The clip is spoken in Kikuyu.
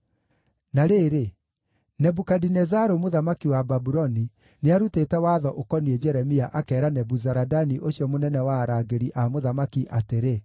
Na rĩrĩ, Nebukadinezaru mũthamaki wa Babuloni nĩarutĩte watho ũkoniĩ Jeremia, akeera Nebuzaradani ũcio mũnene wa arangĩri a mũthamaki atĩrĩ: